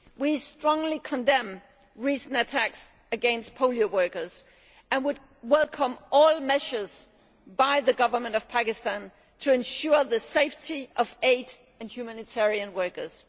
We strongly condemn recent attacks against polio workers, and would welcome all measures by the government of Pakistan to ensure the safety of aid and humanitarian workers.